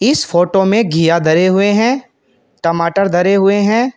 इस फोटो में घीया धरे हुए हैं टमाटर धरे हुए हैं।